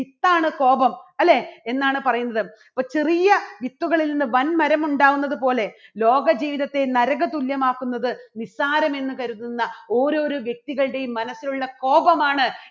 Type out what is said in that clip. വിത്താണ് കോപം അല്ലേ? എന്നാണ് പറയുന്നത്. ഒരു ചെറിയ വിത്തുകളിൽ നിന്ന് വൻമരം ഉണ്ടാകുന്നത് പോലെ ലോക ജീവിതത്തെ നരക തുല്യമാക്കുന്നത് നിസ്സാരം എന്ന് കരുതുന്ന ഓരോരോ വ്യക്തികളുടെയും മനസ്സിലുള്ള കോപമാണ്